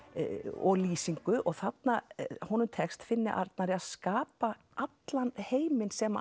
og lýsingu og þarna honum tekst Finni Arnari að skapa allan heiminn sem